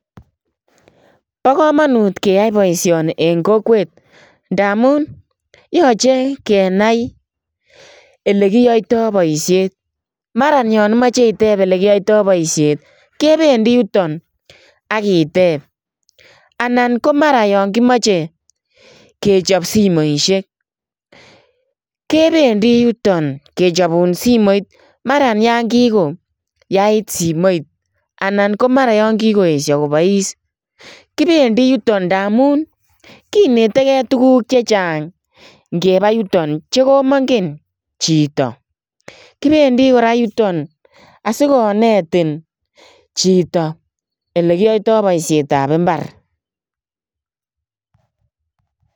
Bo kamanut keyai boisioni en kokwet ndamuun, yachei kenai ele kiyaitaa boisiet maraan yaan imache iteeb ole kiyaitoi boisiet kebendii yutoon akiteeb anan ko maraan yaan kimache ichaap simoisiek kebendii yutoon taam yaan kigo yait simoit anan ko mara yaan kikoesie kobois kibendii yutoon ndamuun kinetegei tuguuk che chaang kebaa yutoon che komakongeen ngebaa yutoon, kibendii kora yutoon asikonetoin chitoo ele kiyaitaa boisiet ab mbaar.